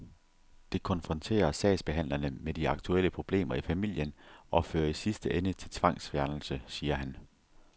Det konfronterer sagsbehandlerne med de aktuelle problemer i familien og fører i sidste ende til tvangsfjernelse, siger han.